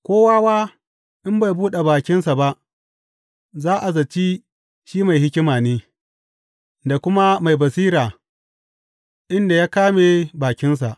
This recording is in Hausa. Ko wawa in bai buɗe bakinsa ba, za a zaci shi mai hikima ne, da kuma mai basira inda ya ƙame bakinsa.